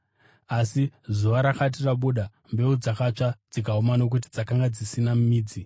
Asi zuva rakati rabuda, mbeu dzakatsva dzikaoma nokuti dzakanga dzisina midzi.